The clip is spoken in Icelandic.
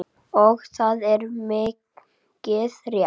Og það er mikið rétt.